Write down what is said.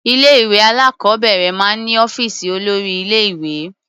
Ilé-ìwé alákọ̀ọ́bẹ̀rẹ̀ máa ń ní ọ́fíìsì olórí-ilé-ìwé.